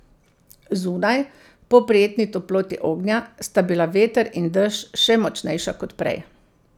Zunaj, po prijetni toploti ognja, sta bila veter in dež še močnejša kot prej.